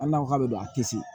Hali n'a k'a bɛ don a tɛ se